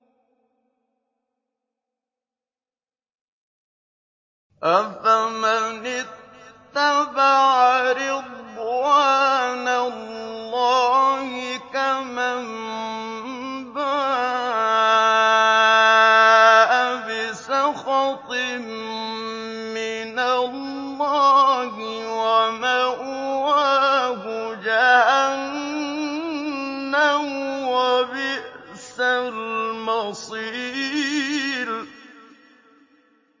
أَفَمَنِ اتَّبَعَ رِضْوَانَ اللَّهِ كَمَن بَاءَ بِسَخَطٍ مِّنَ اللَّهِ وَمَأْوَاهُ جَهَنَّمُ ۚ وَبِئْسَ الْمَصِيرُ